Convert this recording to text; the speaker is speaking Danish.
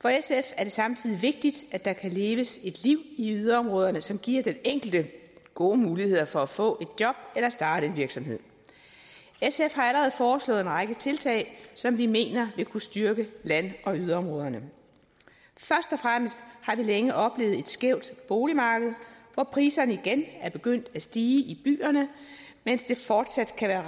for sf er det samtidig vigtigt at der kan leves et liv i yderområderne som giver den enkelte gode muligheder for at få et job eller starte en virksomhed sf har allerede foreslået en række tiltag som vi mener vil kunne styrke land og yderområderne først og fremmest har vi længe oplevet et skævt boligmarked hvor priserne igen er begyndt at stige i byerne mens det fortsat kan være